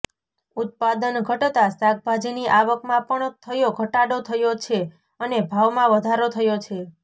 ઉત્પાદન ઘટતા શાકભાજીની આવકમાં પણ થયો ઘટાડો થયો છે અને ભાવમાં વધારો થયો છે